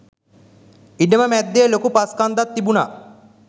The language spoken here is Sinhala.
ඉඩම මැද්දේ ලොකු පස්‌ කන්දක්‌ තිබුණා